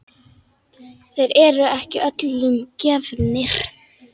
Þeir eru ekki öllum gefnir.